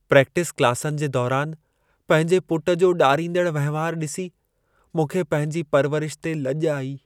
Practice क्लासनि जे दौरान पंहिंजे पुटु जो ॾारींदड़ु वहिंवार ॾिसी मूंखे पंहिंजी परवरिश ते लॼु आई।